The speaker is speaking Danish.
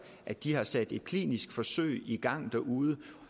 at de har sat et klinisk forsøg i gang derude